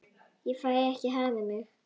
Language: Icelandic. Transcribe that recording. Ég fæ ekki hamið mig.